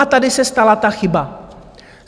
A tady se stala ta chyba.